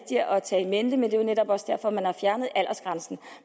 mente det er jo netop også derfor at man har fjernet aldersgrænsen